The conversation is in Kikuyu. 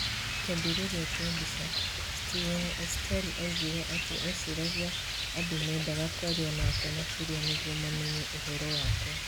Kĩambĩrĩria kia mbica, Stephen Estelle oigire atĩ eciragia andũ mendaga kwaria nake makĩria nĩguo mamenye ũhoro wakwa.